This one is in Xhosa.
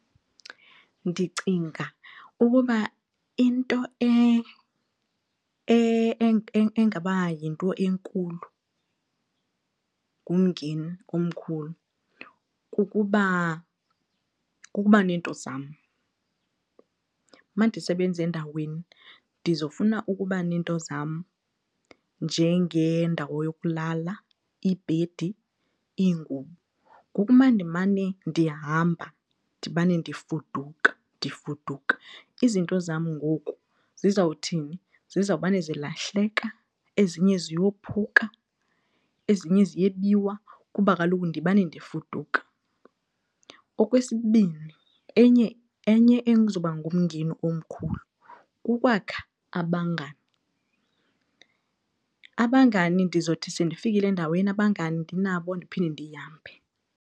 Ndicinga ukuba into engaba yinto enkulu ngumngeni omkhulu kukuba neento zam. Uma ndisebenza endaweni ndizofuna ukuba neento zam njengendawo yokulala, ibhedi, iingubo. Ngoku uma ndimane ndihamba, ndimane ndifuduka ndifuduka izinto zam ngoku zizawuthini? Zizawumane zilahleka ezinye ziyophuka ezinye ziyebiwa kuba kaloku ndimane ndifuduka. Okwesibini, enye, enye ezoba ngumngeni omkhulu kukwakha abangani. Abangani ndizothi sendifikile endaweni abangani ndinabo ndiphinde ndihambe.